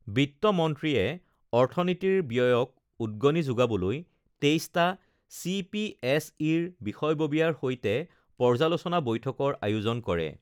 বিত্তমন্ত্ৰীয়ে অৰ্থনীতিৰ ব্যয়ক উদগণি যোগাবলৈ ২৩টা চিপিএছইৰ বিষয়ববীয়াৰ সৈতে পৰ্যালোচনা বৈঠকৰ আয়োজন কৰে